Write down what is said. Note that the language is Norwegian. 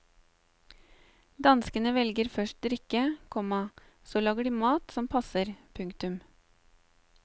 Danskene velger først drikke, komma så lager de mat som passer. punktum